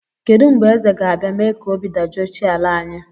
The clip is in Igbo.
Kedụ mgbe Eze ga-abịa mee ka obi dajụọ chi ala anyị